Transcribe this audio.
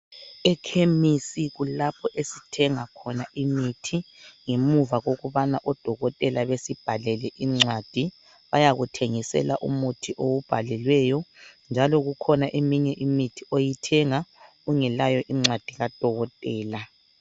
Ekhemisi kulapho esithenga khona imithi ngemuva kokubana odokotela besibhalele incwadi bayakuthengisela umuthi owubhalelweyo njalo kukhona eminye imithi oyithenga ungelancwadi kadokotela.